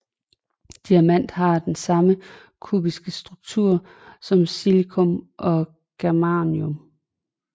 Diamant har den samme kubiske struktur som silicium og germanium